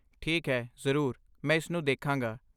ਠੀਕ ਹੈ, ਜ਼ਰੂਰ, ਮੈਂ ਇਸ ਨੂੰ ਦੇਖਾਂਗਾ।